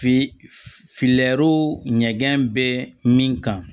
Filɛro ɲɛgɛn bɛ min kan